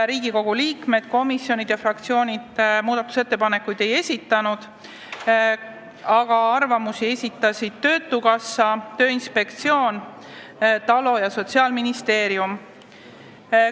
Riigikogu liikmed, komisjonid ega fraktsioonid ettepanekuid ei esitanud, aga arvamusi esitasid Eesti Töötukassa, Tööinspektsioon, TALO ja Sotsiaalministeerium.